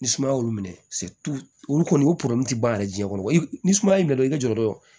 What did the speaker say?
Ni sumaya y'olu minɛ olu kɔni o ti ban yɛrɛ jiɲɛ kɔrɔ ni sumaya y'i minɛ dɔrɔn i ka jɔ dɔrɔn